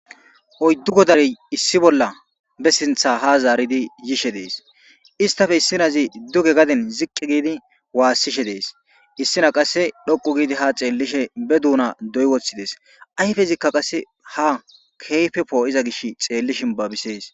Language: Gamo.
oyddu godare issi bolla be sintha ha zaaridi yishe dees istafe issinazi duge gadin ziqqi giidi waassishe dees issina qasse dhoqu giidi ha xeellishe be duuna doy woththides ayfezikka qase ha keyfepoo iza gish xeelli shin babisees